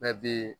Bɛɛ bi